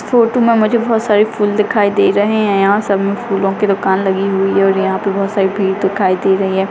Photo में मुझे बहुत सारे फूल दिखाई दे रहे हैं यहाँ सब मे फूलो की दूकान लगी हुई है और यहाँ पर मुझे बहुत सारी भीड़ दिखाई दे रही है।